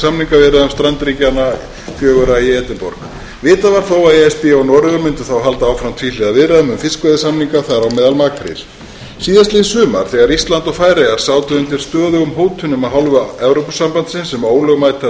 upp úr samningaviðræðum strandríkjanna fjögurra í edinborg vitað var þó að e s b og noregur mundu þá halda áfram tvíhliða viðræðum um fiskveiðisamninga þar á meðal makríl síðastliðið sumar þegar ísland og færeyjar sátu undir stöðugum hótunum af hálfu evrópusambandsins um ólögmætar